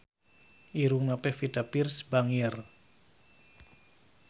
Irungna Pevita Pearce bangir